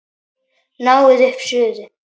Náið upp suðu.